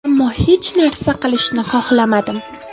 Ammo hech narsa qilishni xohlamadim.